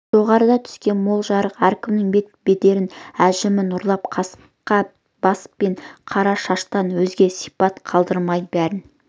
жоғарыдан түскен мол жарық әркімнің бет бедерін әжімін ұрлап қасқа бас пен қара шаштан өзге сипат қалдырмай бәрін